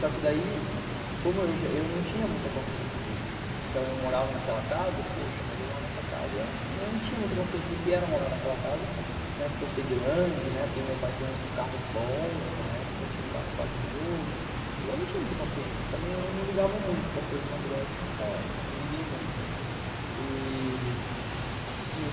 Só que daí, como eu não tinha muita consciência disso, então eu morava naquela casa, poxa, mas eu moro nessa casa, eu não tinha muita consciência do que era morar naquela casa, né, por ser grande, por meu pai ter um carro bom, na época tinha um carro quase novo, e eu não tinha muita consciência, também eu não ligava muito para as coisas materiais, nunca liguei muito e...